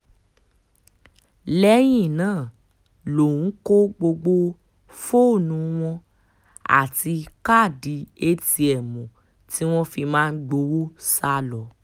lẹ́yìn náà lòun kó gbogbo fóònù wọn àti káàdì atm tí wọ́n fi máa ń gbowó sá lọ